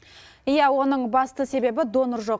иә оның басты себебі донор жоқ